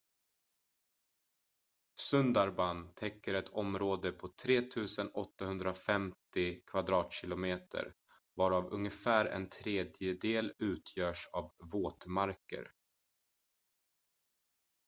sundarban täcker ett område på 3 850 km² varav ungefär en tredjedel utgörs av våtmarker